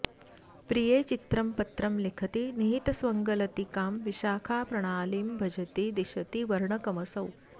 प्रिये चित्रं पत्रं लिखति निहितस्वङ्गलतिकां विशाखाप्राणालीं भजति दिशती वर्णकमसौ